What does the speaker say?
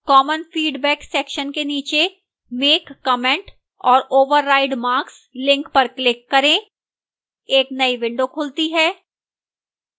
common feedback section के नीचे make comment or override marks link पर click करें एक नई विंडो खुलती है